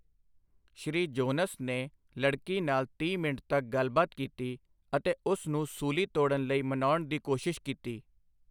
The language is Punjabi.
ਸ੍ਰੀ ਜੋਨਸ ਨੇ ਲੜਕੀ ਨਾਲ ਤੀਹ ਮਿੰਟ ਤੱਕ ਗੱਲਬਾਤ ਕੀਤੀ ਅਤੇ ਉਸ ਨੂੰ ਸੂਲੀ ਤੋੜਨ ਲਈ ਮਨਾਉਣ ਦੀ ਕੋਸ਼ਿਸ਼ ਕੀਤੀ।